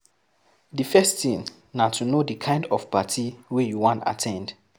Di first thing na to know di kind of party wey you wan at ten d